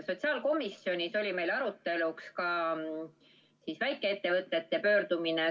Sotsiaalkomisjonis oli meil arutelu all ka väikeettevõtete pöördumine.